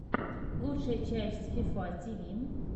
лучшая часть фифа ти ви